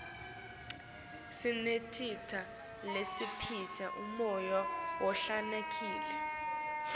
sinetitjalo letisipha umoya lohlantekile